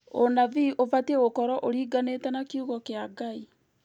ũnabii ũbatiĩ gũkorwo ũringanĩte na kĩugo kĩa Ngai